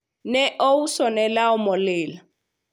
ne ousone law molil